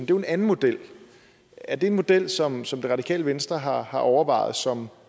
jo en anden model er det en model som som det radikale venstre har har overvejet som